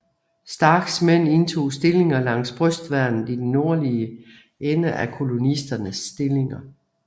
Starks mænd indtog stillinger langs brystværnet i den nordlige ende af kolonisternes stillinger